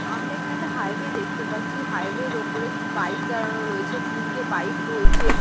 আমরা এখানে একটা হাইওয়ে দেখতে পাচ্ছি। হাইওয়ে -এর ওপরে বাইক দাঁড়ানো রয়েছে তিনটে বাইক রয়েছে।